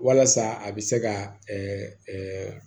Walasa a bɛ se ka